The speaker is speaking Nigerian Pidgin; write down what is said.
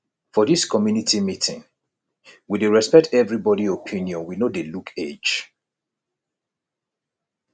for dis community meeting we dey respect everybodi opinion we no dey look age